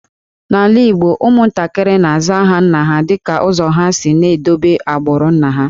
N’ala Igbo, ụmụntakịrị na-aza aha nna ha dịka ụzọ ha ga-esi na-edobe agbụrụ nna ha